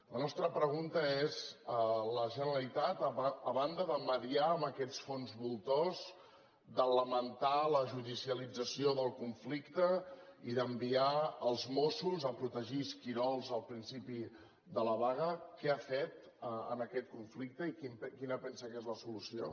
la nostra pregunta és la generalitat a banda de mediar amb aquests fons voltors de lamentar la judicialització del conflicte i d’enviar els mossos a protegir esquirols al principi de la vaga què ha fet en aquest conflicte i quina pensa que és la solució